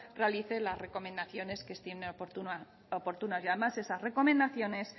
realice las recomendaciones que estime oportunas y además esas recomendaciones